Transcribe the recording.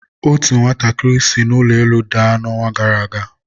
otu nwatakịrị si n'ụlọ elu daa na ọnwa gara aga.